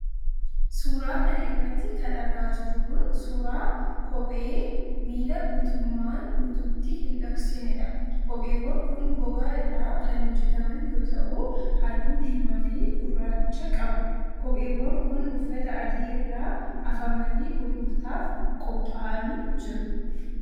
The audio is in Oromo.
Suura kana irratti kan argaa jirru kun, suura kophee miila guutumaan guututti hin dhoksinee dha. Kopheewwan kun, gogaa irraa kan hojjataman yoo ta'u, haalluu diimaa fi gurracha qabu. Kopheewwan kun, uffata adii irra afamanii gurgurtaaf qopha'anii jiru